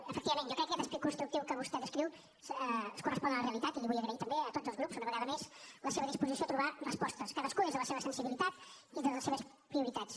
efectivament jo crec que aquest esperit constructiu que vostè descriu es correspon a la realitat i els ho vull agrair també a tots els grups una vegada més la seva disposició a trobar respostes cadascú des de la seva sensibilitat i des de les seves prioritats